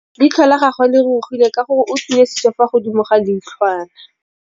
Leitlhô la gagwe le rurugile ka gore o tswile sisô fa godimo ga leitlhwana.